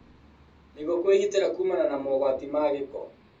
Nĩguo kwĩgitĩra kuumana na mogwati ma gĩko